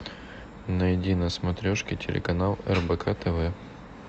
найди на смотрешке телеканал рбк тв